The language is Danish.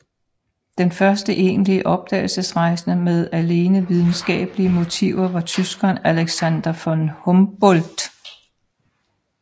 Den første egentlige opdagelsesrejsende med alene videnskabelige motiver var tyskeren Alexander von Humboldt